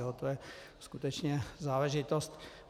Ale to je skutečně záležitost.